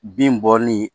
Bin bɔli